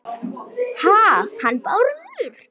Ha- hann Bárður?